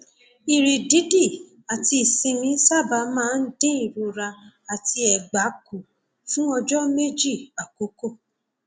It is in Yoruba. ìrì dídì àti ìsinmi sábà máa ń dín ìrora àti ẹgbà kù fún ọjọ méjì àkọkọ